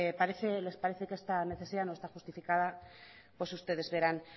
les parece que esta necesidad no está justificada pues ustedes verán